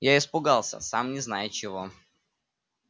я испугался сам не зная чего